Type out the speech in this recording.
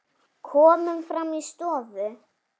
Komum fram í stofu.